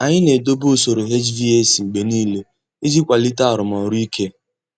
Anyị na-edobe usoro HVAC mgbe niile iji kwalite arụmọrụ ike.